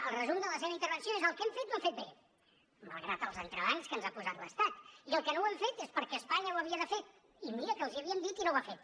el resum de la seva intervenció és el que hem fet ho hem fet bé malgrat els entrebancs que ens ha posat l’estat i el que no hem fet és perquè espanya ho havia de fer i mira que els hi havíem dit i no ho ha fet